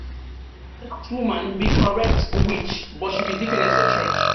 woman be correct witch but she be deaconess for church.